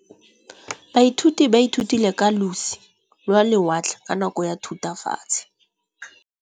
Baithuti ba ithutile ka losi lwa lewatle ka nako ya Thutafatshe.